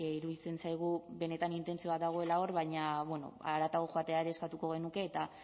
iruditzen zaigu benetan intentzioa dagoela hor baina haratago joatea ere eskatuko genuke eta